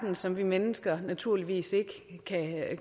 som vi mennesker naturligvis ikke